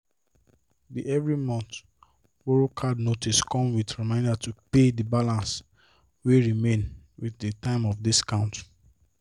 the every month borrow card notice come with reminder to pay the balance wey remain within the time of discount